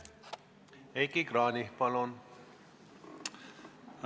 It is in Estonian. Heiki Kranich, palun!